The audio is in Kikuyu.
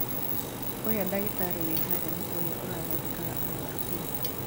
Ũrĩa dagĩtarĩ wĩ harĩa nĩ ũrĩa ũrathondekaga arwaru ira